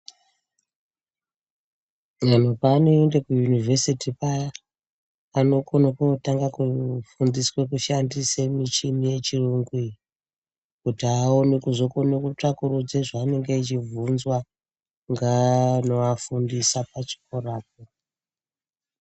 Antu paanoende kuyunivhesiti paya anokone kotanga kufundiswe kushandise muchini yechirungu iyi kuti aone kuzokone kutsvakurudze zvaanenge echibvunzwa ngaano afundisa pachikorapo.